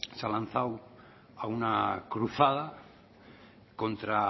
se ha lanzada a una cruzada contra